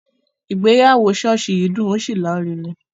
Ìgbéyàwó ṣọ́ọ̀ṣì yìí dùn ó ṣì larinrin